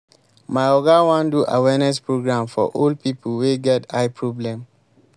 my oga wan do awareness program for old people wey get eye problem